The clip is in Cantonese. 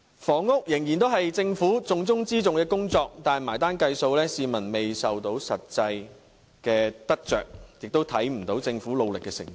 房屋仍然是政府重中之重的工作，但埋單計數，市民卻未能感受到實際得着，亦看不到政府努力的成果。